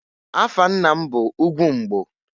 Afa nna m bụ Ugwumbgo.